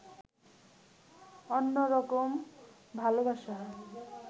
অন্যরকম ভালোবাসা